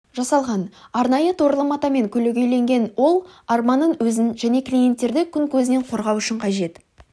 жасалған арнайы торлы матамен көлегейленген ол арбаның өзін және клиенттерді күн көзінен қорғау үшін қажет